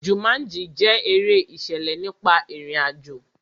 Jumanji jẹ́ eré ìṣẹ̀lẹ̀ nípa ìrìn àjò.